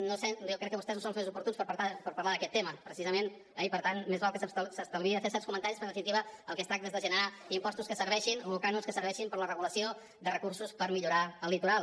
no ho sé jo crec que vostès no són els més oportuns per parlar d’aquest tema precisament eh i per tant més val que s’estalviï de fer certs comentaris perquè en definitiva del que es tracta és de generar impostos que serveixin o cànons que serveixin per la regulació de recursos per millorar el litoral